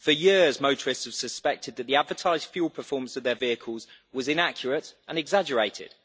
For years, motorists have suspected that the advertised fuel performance of their vehicles was inaccurate and exaggerated.